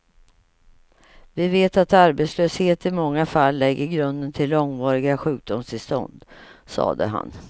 Vi vet att arbetslöshet i många fall lägger grunden till långvariga sjukdomstillstånd, sade han.